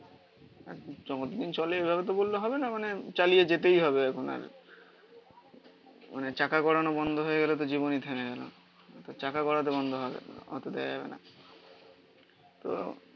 যতদিন চলে. এভাবে তো বললে হবে না. মানে চালিয়ে যেতেই হবে এখন আর মানে চাকা ঘোরানো বন্ধ হয়ে গেলে তো জীবনই থেমে গেল. চাকা ঘোরা তো বন্ধ হবে না অত দেওয়া যাবে না. তো